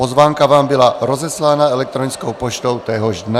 Pozvánka vám byla rozeslána elektronickou poštou téhož dne.